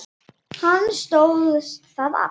Hann stóðst það afl.